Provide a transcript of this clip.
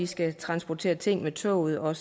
skal transportere ting med toget og